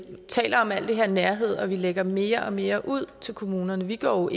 taler om alt det her med nærhed og lægger mere og mere ud til kommunerne vi går